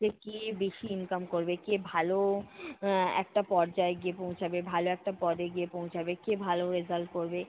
যে কে বেশি income করবে, কে ভালো এর একটা পর্যায় গিয়ে পৌঁছাবে, ভালো একটা পদে গিয়ে পৌঁছাবে, কে ভালো result করবে।